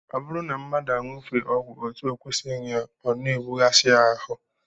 Ọ bụrụ na mmadụ aṅụfee ọgwụ etu ọ kwesịrị ịṅụ, ọ na-ebughasị ya ahụ